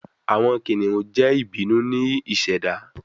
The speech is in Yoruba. Awọn kiniun jẹ ibinu ni iseda